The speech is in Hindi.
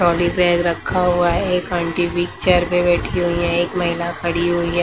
ट्रोली बैग रखा हुआ है एक आंटी बिग चेयर पर बैठी हुई हैं एक महिला खड़ी हुई है।